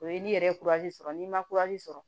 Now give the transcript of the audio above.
O ye n'i yɛrɛ ye sɔrɔ n'i ma sɔrɔ